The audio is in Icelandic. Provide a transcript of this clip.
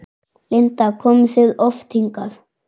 Linda: Komið þið oft hingað?